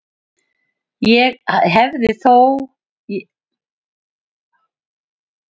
Og hefði ég þó svarið fyrir að þannig væri í pottinn búið.